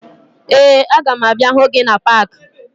Ee, aga m abịa hụ gị na paakị